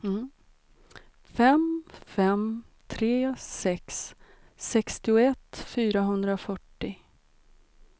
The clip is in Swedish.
fem fem tre sex sextioett fyrahundrafyrtio